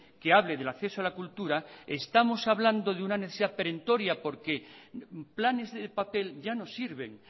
que hable del acceso a la cultura estamos hablando de una necesidad perentoria porque planes de papel ya no sirven